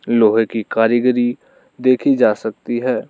लोहे की कारीगरी देखी जा सकती है।